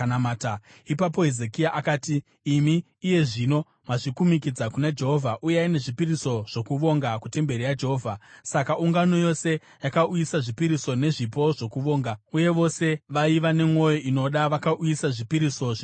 Ipapo Hezekia akati, “Imi iye zvino mazvikumikidza kuna Jehovha. Uyai nezvipiriso zvokuvonga kutemberi yaJehovha.” Saka ungano yose yakauyisa zvipiriso nezvipo zvokuvonga, uye vose vaiva nemwoyo inoda vakauyisa zvipiriso zvinopiswa.